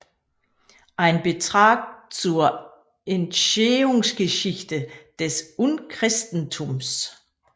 Ein Beitrag zur Entstehungsgeschichte des Urchristentums